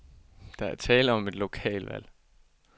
Der er tale om et lokalvalg.